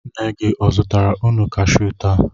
Nne gị o zụtara unu kashiu taa?